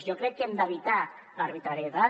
jo crec que hem d’evitar l’arbitrarietat